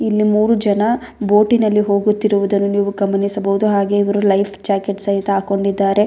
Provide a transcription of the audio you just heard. ಇಲ್ಲಿ ಮೂರು ಜನ ಬೋಟಿನಲ್ಲಿ ಹೋಗುತ್ತಿರುವುದನ್ನು ನೀವು ಗಮನಿಸಬಹುದು ಹಾಗೆ ಇವರು ಲೈಫ್ ಜಾಕೆಟ್ ಸಹಿತ ಹಾಕೊಂಡಿದ್ದಾರೆ.